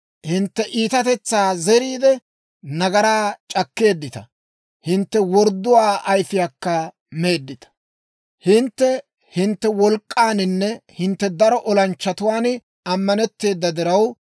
«Hintte iitatetsaa zeriide, nagaraa c'akkeeddita; hintte wordduwaa ayfiyaakka meeddita. «Hintte hintte wolk'k'aaninne hintte daro olanchchatuwaan ammanetteeda diraw,